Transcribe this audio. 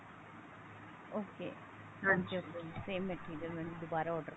ok same material ਮੈਂ ਦੁਬਾਰਾ order